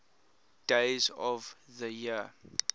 days of the year